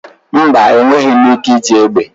Mba, enweghị m ike iji egbe.